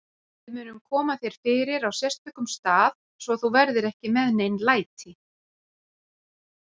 Við munum koma þér fyrir á sérstökum stað, svo þú verðir ekki með nein læti.